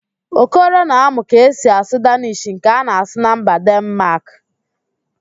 Okoro na-amụ ka esi asụ Dannish nke a na-asụ na mba Denmaak